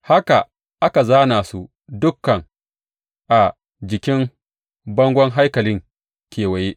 Haka aka zāna su dukan a jikin bangon haikalin kewaye.